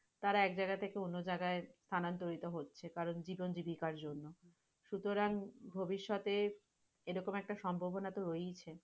তারা এক যায়গা থেকে অন্য যাইয়গাই স্থান্তরিত হচ্ছে কারণ জীবন জীবিকার জন্য, সুতরাং ভবিষ্যতে এরকম একটা সম্ভাবনা তো রয়েছে।